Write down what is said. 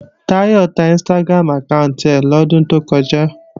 Táyọ̀ ta Instagram àkáànti rẹ̀ lọ́dún tó kọjá